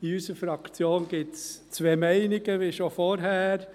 In unserer Fraktion gibt es zwei Meinungen, wie schon vorher.